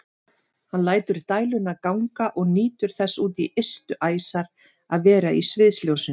Hann lætur dæluna ganga og nýtur þess út í ystu æsar að vera í sviðsljósinu.